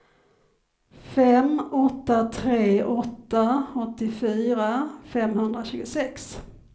fem åtta tre åtta åttiofyra femhundratjugosex